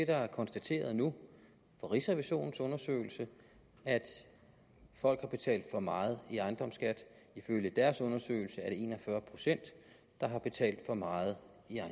der er konstateret nu i rigsrevisionens undersøgelse folk har betalt for meget i ejendomsskat ifølge deres undersøgelse er det en og fyrre pct der har betalt for meget